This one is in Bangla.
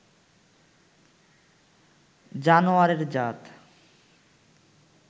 জানোয়ারের জাত